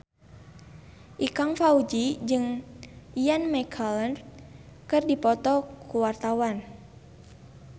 Ikang Fawzi jeung Ian McKellen keur dipoto ku wartawan